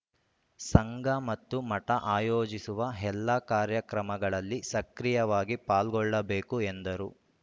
ಸಂಘ ಮತ್ತು ಮಠ ಆಯೋಜಿಸುವ ಎಲ್ಲ ಕಾರ್ಯಕ್ರಮಗಳಲ್ಲಿ ಸಕ್ರಿಯವಾಗಿ ಪಾಲ್ಗೊಳ್ಳಬೇಕು ಎಂದರು